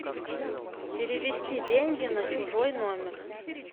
перевести деньги на чужой номер